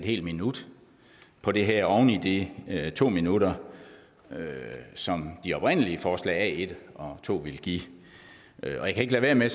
en minut på det her oven i de to minutter som de oprindelige forslag a1 og a2 ville give jeg kan ikke lade være med